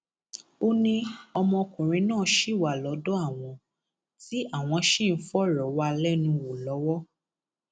ó ní ọmọkùnrin náà ṣì wà lọdọ àwọn tí àwọn ṣì ń fọrọ wá a lẹnu wò lọwọ